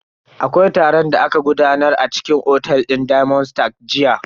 Akwai taron da aka gudanar a cikin otel din diamond stars jiya.